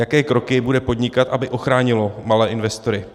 Jaké kroky bude podnikat, aby ochránilo malé investory?